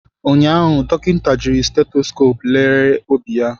Ụnyaahụ, dọkịta jiri stethoscope lere obi ya.